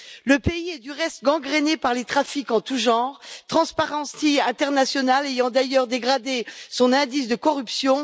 Le pays est, du reste, gangréné par les trafics en tous genres, Transparency International ayant d'ailleurs dégradé son indice de corruption.